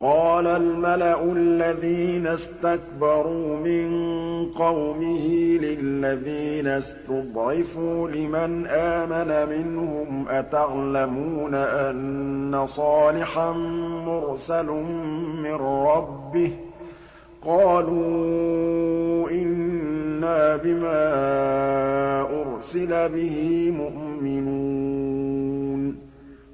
قَالَ الْمَلَأُ الَّذِينَ اسْتَكْبَرُوا مِن قَوْمِهِ لِلَّذِينَ اسْتُضْعِفُوا لِمَنْ آمَنَ مِنْهُمْ أَتَعْلَمُونَ أَنَّ صَالِحًا مُّرْسَلٌ مِّن رَّبِّهِ ۚ قَالُوا إِنَّا بِمَا أُرْسِلَ بِهِ مُؤْمِنُونَ